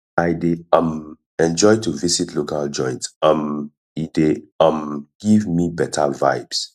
i dey um enjoy to visit local joints um e dey um give me beta vibes